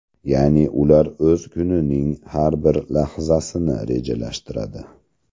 Ya’ni ular o‘z kunining har bir lahzasini rejalashtiradi.